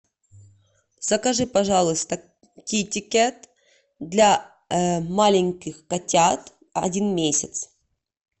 закажи пожалуйста китикет для маленьких котят один месяц